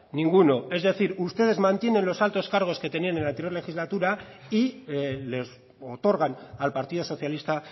ninguno es decir ustedes mantienen los altos cargos que tenían en la anterior legislatura y les otorgan al partido socialista